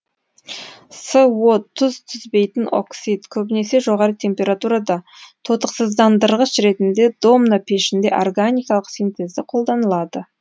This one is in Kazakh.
со тұз түзбейтін оксид көбінесе жоғары температурада тотықсыздандырғыш ретінде домна пешінде органикалық синтезде қолданылады